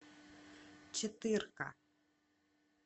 четырка